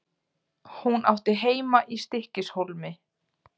Hún átti heima í Stykkishólmi.